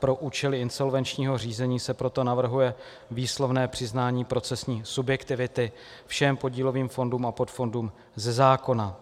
Pro účely insolvenčního řízení se proto navrhuje výslovné přiznání procesní subjektivity všem podílovým fondům a podfondům ze zákona.